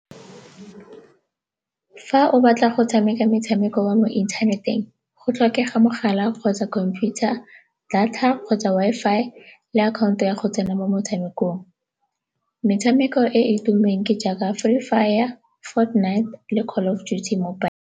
Fa o batla go tshameka metshameko wa mo inthaneteng, go tlhokega mogala kgotsa computer, data kgotsa Wi-Fi le akhaonto ya go tsena mo motshamekong. Metshameko e e tumileng ke jaaka mobile.